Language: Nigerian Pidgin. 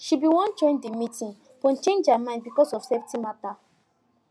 she bin wan join the meeting but change her mind because of safety matter